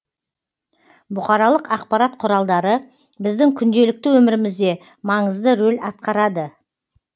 бұқаралық ақпарат құралдары біздің күнделікті өмірімізде маңызды рөл атқарады